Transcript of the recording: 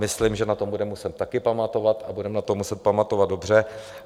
Myslím, že na to budeme muset také pamatovat, a budeme na to muset pamatovat dobře.